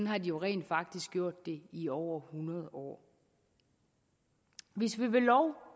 har de jo rent faktisk gjort det i over hundrede år hvis vi ved lov